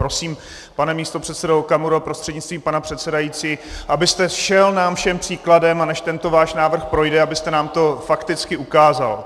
Prosím, pane místopředsedo Okamuro prostřednictvím pana předsedajícího, abyste šel nám všem příkladem, a než tento váš návrh projde, abyste nám to fakticky ukázal.